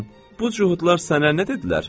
Bu cuhudlar sənə nə dedilər?